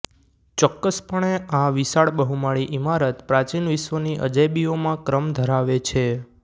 ચોક્કસપણે આ વિશાળ બહુમાળી ઈમારત પ્રાચીન વિશ્વની અજાયબીઓમાં ક્રમ ધરાવે છે